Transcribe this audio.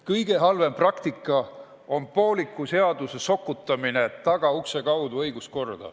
Kõige halvem praktika on pooliku seaduse sokutamine tagaukse kaudu õiguskorda.